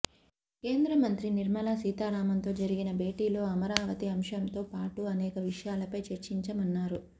కేంద్ర మంత్రి నిర్మలా సీతారామన్తో జరిగిన భేటీలో అమరావతి అంశంతో పాటు అనేక విషయాలపై చర్చించామన్నారు